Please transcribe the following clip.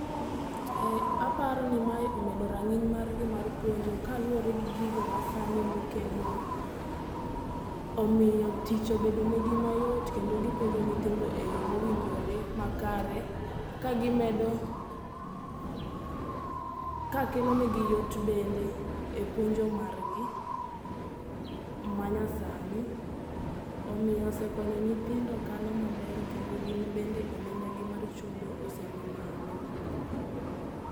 Eeeh, aparo ni mae omedo ranginy margi mar puonjo kaluore gi gigo masani mokelnwa, omiyo tich obedo negi mayot kendo gipuonjo nyithindo e yoo mowinjore makare ka gimedo ,ka kelo negi yot bende e puonjo margi manyasani, omiyo osekonyo nyithindo kalo maber kendo gin bende omendagi mar chudo osedhi malo